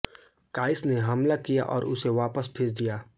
काईस ने हमला किया और उसे वापस भेज दिया